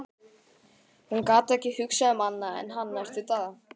Hún gat ekki hugsað um annað en hann næstu daga.